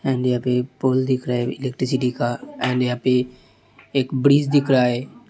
And यहाँ पे pole दिखा रहा है। इलेक्ट्रिकसिटी का एंड यहाँ पे एक ब्ररीज़ दिखा रहा है।